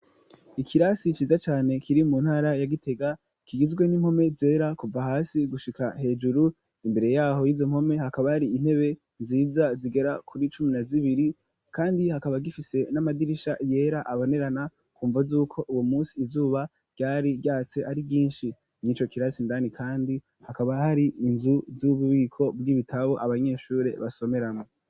ikirasi ciza cane kiri mu ntara ya Gitega kigizwe n'impome zera kuva hasi gushika hejuru imbere yaho y'izo mpome hakaba hari intebe nziza zigera kuri cumi na zibiri kandi hakaba zifise n'amadirisha yera abonerana kumvo z'uko uwo munsi izuba ryari ryatse ari ryinshi n'ico kirasi indani kandi hakaba hari inzu z'ububiko bw'ibitabo abanyeshure basomeramwo.